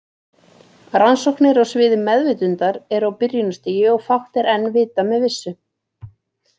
Rannsóknir á sviði meðvitundar eru á byrjunarstigi og fátt er enn vitað með vissu.